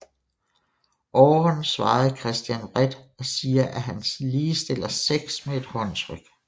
Aaron svarer Christian vredt og siger at han ligestiller sex med et håndtryk